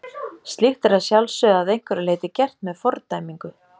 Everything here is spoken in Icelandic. slíkt er að sjálfsögðu að einhverju leyti gert með fordæmingu